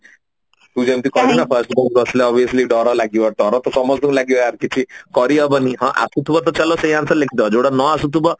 ତୁ ଯେମତି କହିଲୁ ନା first bench ରେ ବସିଲେ obviously ଡର ଲାଗିବ ତ ଡର ତ ସମସ୍ତଙ୍କୁ ଲାଗିବ ୟାର କିଛି କରି ହବନି ହଁ ଆସୁଥିବ ତ ଚାଲ ସେଇ answer ଲେଖିଦବ ଯୋଉଟା ନ ଆସୁଥିବ